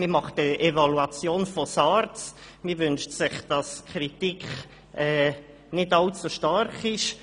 Man macht eine Evaluation von SARZ und wünscht sich, dass die Kritik nicht allzu stark ist.